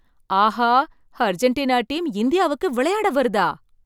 ஆஹா! Argentina team இந்தியாவுக்கு விளையாட வருதா!